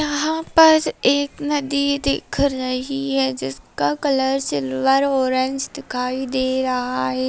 यहाँ पर एक नदी दिख रही है जिसका कलर सिल्वर ऑरेंज दिखाई दे रहा है।